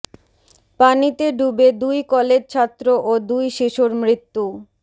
পানিতে ডুবে দুই কলেজ ছাত্র ও দুই শিশুর মৃত্যু